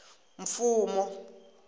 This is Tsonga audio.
mfumo